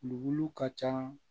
Wuluwulu ka ca